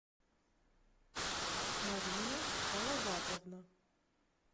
марина салаватовна